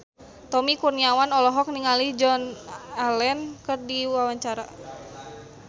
Tommy Kurniawan olohok ningali Joan Allen keur diwawancara